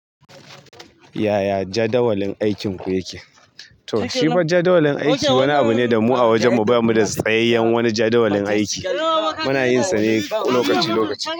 Yaya jadawalin aikinku yake? To, shi ba jadawalin aiki wani abu ne da mu a wajen mu. Ba mu da tsayayyen wani jadawalin aiki. Muna yin sane lokaci lokaci.